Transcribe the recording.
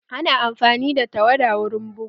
Ana amfani da tawada wurin bugu